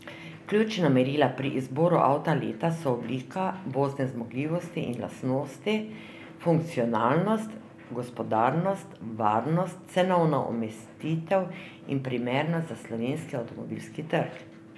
Ključna merila pri izboru avta leta so oblika, vozne zmogljivosti in lastnosti, funkcionalnost, gospodarnost, varnost, cenovna umestitev in primernost za slovenski avtomobilski trg.